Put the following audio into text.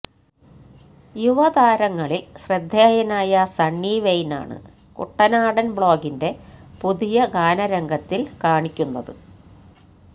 യുവതാരങ്ങളില് ശ്രദ്ധേയനായ സണ്ണി വെയ്നെയാണ് കുട്ടനാടന് ബ്ലോഗിന്റെ പുതിയ ഗാനരംഗത്തില് കാണിക്കുന്നത്